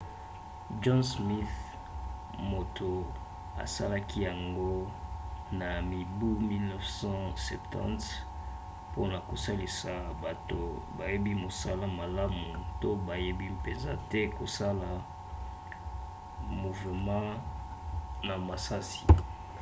john smith moto asalaki yango na mibu 1970 mpona kosalisa bato bayebi mosala malamu to bayebi mpenza te kosala muvema na misisa